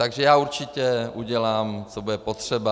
Takže já určitě udělám, co bude potřeba.